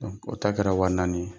O ta kɛra wa naani ye.